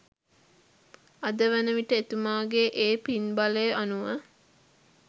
අද වන විට එතුමාගේ ඒ පින්බලය අනුව